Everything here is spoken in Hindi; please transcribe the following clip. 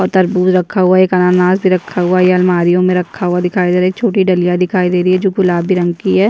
और तरबूज रखा हुआ है एक अनानस भी रखा हुआ है ये अलमारियों में रखा हुआ दिखाई दे रहा है एक छोटी डलियां दिखाई दे रही है जो गुलाबी रंग की है।